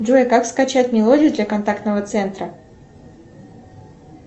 джой как скачать мелодию для контактного центра